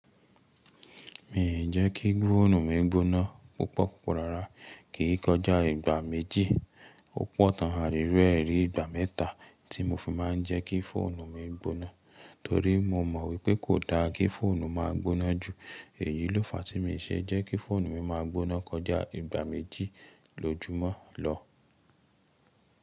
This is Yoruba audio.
Mi ì je kí fóònù mi gboná púpò púpò rárá, ki ì kọjá ìgbà méjì. Ó pọ̀ tán a rírú ẹ̀ rí ìgbà mẹ́ta tí mo fi máa ń jẹ́ kí fóònù mi gboná, torí mo mọ̀ wípé kò da kí fóònù má gboná jù. Èyí ló fàá tí̀ mi ì ṣe jẹ́ kí fóònù mi má a gboná kọjá ìgbà méjì lójúmọ́ lọ.